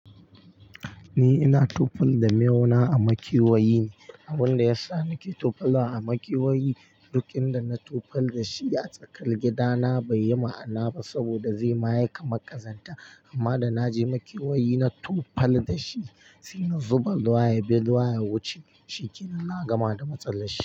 Ni ina tufal da miyau na a makewayi. Abunda yasa nake tufal wa a makewayi, duk inda na tufal da shi a tsakar gida na baiyi ma'ana ba saboda zai mayi kamar ƙazanta. Amma da naje makewayi na tufal da shi, sai na zuba ruwa biyu ruwa ya wuce. Shinkenan na gama da matsalar shi.